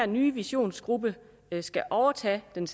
nye visionsgruppe skal overtage den